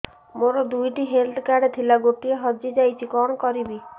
ମୋର ଦୁଇଟି health card ଥିଲା ଗୋଟିଏ ହଜି ଯାଇଛି କଣ କରିବି